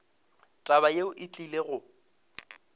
taba yeo e tlile go